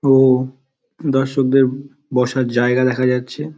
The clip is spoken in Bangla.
ও দর্শক দের বসার জায়গা দেখা যাচ্ছে-এ--